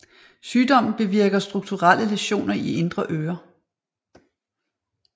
Sygdommen bevirker strukturelle læsioner i indre øre